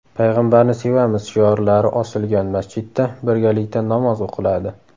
payg‘ambarni sevamiz” shiorlari osilgan masjidda birgalikda namoz o‘qiladi.